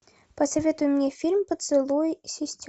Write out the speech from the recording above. посоветуй мне фильм поцелуй сестер